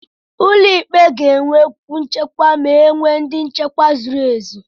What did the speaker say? ụlọ ikpe ga-enwe kwú nchekwa ma enwe ndị nchekwa zuru ezu